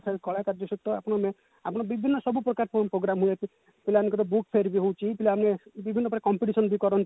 ଖାଲି କଳା କାର୍ଯ୍ୟ ସହିତ ଆପଣମାନେ ଆପଣ ବିଭିନ୍ନ ସବୁ ପ୍ରକାର program ପିଲାମାନଙ୍କ book fair ବି ହଉଛି ପିଲା ମାନେ ବିଭିନ୍ନ ପ୍ରକାର competition ବି କରନ୍ତି